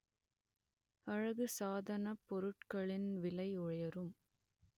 அழகு சாதனப் பொருட்களின் விலை உயரும்